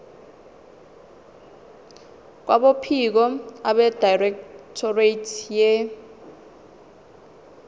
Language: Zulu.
kwabophiko abedirectorate ye